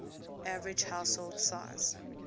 average household size